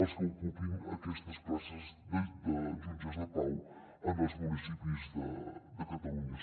els que ocupin aquestes places de jutges de pau en els municipis de catalunya